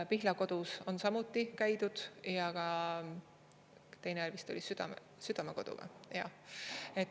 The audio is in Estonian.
Pihlakodus on samuti käidud ja teine oli vist Südamekodu, jah.